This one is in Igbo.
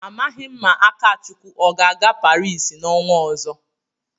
Amaghị ma Akachukwu ọ ga-aga Paris n'ọnwa ọzọ.